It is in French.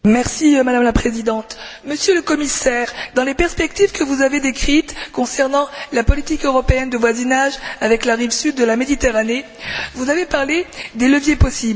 Madame la Présidente, Monsieur le Commissaire, dans les perspectives que vous avez décrites concernant la politique européenne de voisinage avec la rive sud de la Méditerranée, vous avez parlé des leviers possibles.